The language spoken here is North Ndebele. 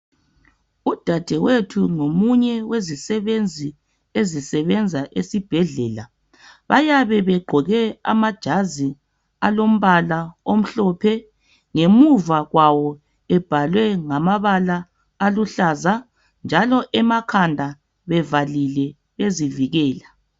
Udadewethu ngomunye wezisebenzi ezisebenza esibhedlela bayabe begqoke amajazi alombala omhlophe ngemuva kwawo ebhalwe ngamabala aluhlaza njalo emakhanda bevalile bezivikela.